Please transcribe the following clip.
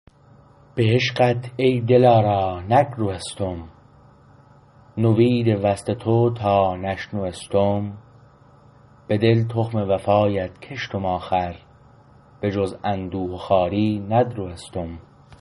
به عشقت ای دلارا نگروستم نوید وصل تو تا نشنوستم بدل تخم وفایت کشتم آخر بجز اندوه و خواری ندروستم